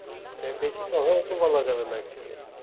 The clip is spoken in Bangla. বেশি কথাবার্তা বলা যাবে না actually